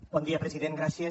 bon dia president gràcies